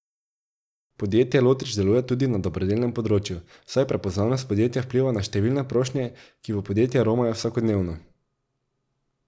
Podjetje Lotrič deluje tudi na dobrodelnem področju, saj prepoznavnost podjetja vpliva na številne prošnje, ki v podjetje romajo vsakodnevno.